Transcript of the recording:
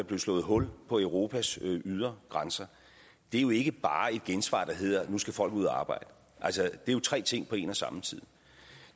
blev slået hul på europas ydre grænser er jo ikke bare et gensvar der hedder at nu skal folk ud at arbejde det er tre ting på en og samme tid